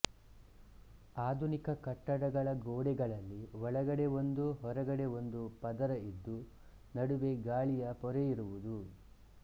ಆಧುನಿಕ ಕಟ್ಟಡಗಳ ಗೋಡೆಗಳಲ್ಲಿ ಒಳಗಡೆ ಒಂದು ಹೊರಗಡೆ ಒಂದು ಪದರ ಇದ್ದು ನಡುವೆ ಗಾಳಿಯ ಪೊರೆಯಿರುವುದು